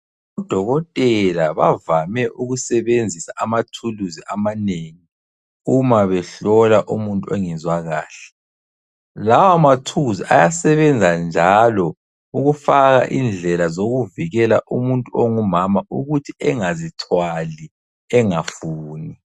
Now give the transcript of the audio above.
Odokotela bavame ukusebenzisa amathuluzi amanengi, uma behlola umuntu ongezwakahle. Lawa ma tools ayasebenzanjalo ukufaka indlela zokuvikela umuntu ongumama ukuthi engazithwali engafuni.